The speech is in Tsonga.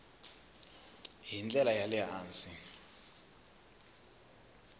hi ndlela ya le hansi